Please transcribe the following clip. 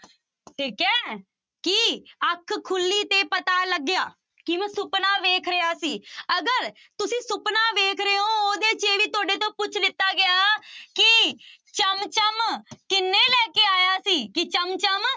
ਠੀਕ ਹੈ ਕਿ ਅੱਖ ਖੁੱਲੀ ਤੇ ਪਤਾ ਲੱਗਿਆ ਕਿ ਮੈਂ ਸੁਪਨਾ ਵੇਖ ਰਿਹਾ ਸੀ, ਅਗਰ ਤੁਸੀਂ ਸੁਪਨਾ ਵੇਖ ਰਹੇ ਹੋ ਉਹਦੇ ਚ ਵੀ ਤੁਹਾਡੇ ਤੋਂ ਪੁੱਛ ਲਿੱਤਾ ਗਿਆ ਕਿ ਚਮ ਚਮ ਕਿੰਨੇ ਲੈ ਕੇ ਆਇਆ ਸੀ ਕਿ ਚਮ ਚਮ